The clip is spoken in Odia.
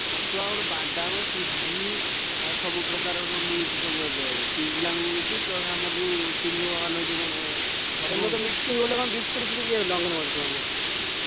ଛତୁଆ, ବାଦାମ, ସୁଜି ଆଉ ସବୁ ପ୍ରକାରର ମିଳୁଛି ଏବେ ପିଲାଙ୍କୁ ମିଳୁଛି plus ଆମର ଏପଟେ ସ୍ତ୍ରୀଲୋକମାନଙ୍କୁ ବି ମିଳୁଛି ।